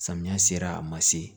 Samiya sera a ma se